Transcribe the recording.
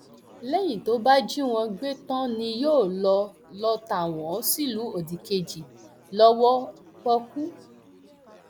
lẹyìn tó bá jí wọn gbé tán ni yóò lọọ lọọ ta wọn sílùú òdìkejì lọwọ pọọkú